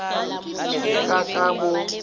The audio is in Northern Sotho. se ka ka ka mo